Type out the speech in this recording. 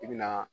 I bɛna